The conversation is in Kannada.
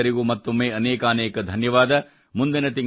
ನಿಮಗೆಲ್ಲರಿಗೂ ಮತ್ತೊಮ್ಮೆ ಅನೇಕಾನೇಕ ಧನ್ಯವಾದ